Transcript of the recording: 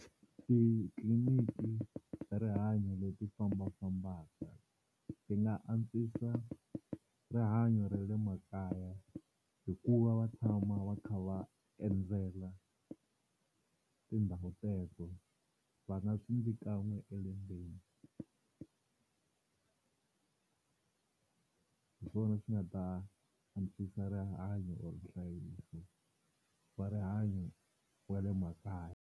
Titliliniki ta rihanyo leti fambafambaka ti nga antswisa rihanyo ra le makaya hi ku va va tshama va kha va endzela tindhawu teto, va nga swi endli kan'we elembeni hi swona swi nga ta antswisa rihanyo or nhlayiso wa rihanyo wa le makaya.